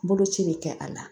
Boloci bɛ kɛ a la